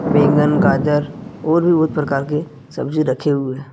बैंगन गाजर और भी बहुत प्रकार के सब्जी रखे हुए--